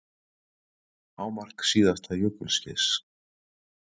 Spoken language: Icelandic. Hámark síðasta jökulskeiðs